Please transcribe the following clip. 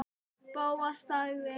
Bóas þagði.